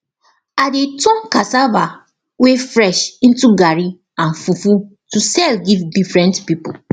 i dey turn cassava wey fresh into garri and fufu to sell give different people